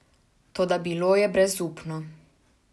Toda bilo je brezupno.